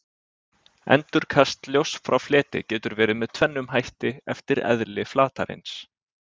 Endurkast ljóss frá fleti getur verið með tvennum hætti eftir eðli flatarins.